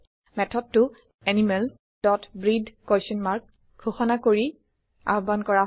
মেথডটো animal dot ব্ৰেটহে question mark ঘোষণা কৰি আহ্বান কৰা হয়